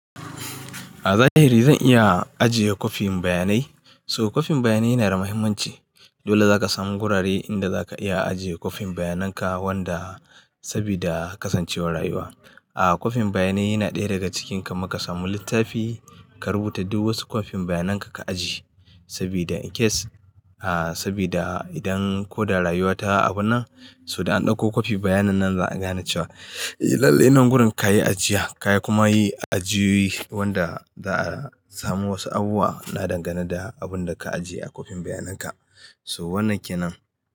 A zahiri zan iya ajiye kwafin bayanai. So kwafin bayanai yana da muhimmanci. Dole zaka samu gurare inda zaka iya ajiye kwafin bayanan ka wanda saboda kasancewar rayuwa. Aaa kwafin bayanai yana ɗaya daga cikin ka maka samu littafi ka rubuta duk wasu kwafin bayanan ka ajiye saboda in case, aaa saboda idan ko da rayuwa ta abu nan so da an ɗauko kwafi bayanan nan za'a gane cewa, lalle nan gurin kayi ajiya kayi kuma yi ajiyoyi wanda za'a samu wasu abubuwa na dangane da abun da ka ajiye a kwafin bayanan ka. So wannan ke nan.